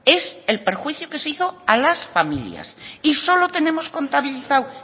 es el perjuicio que se hizo a las familias y solo tenemos contabilizado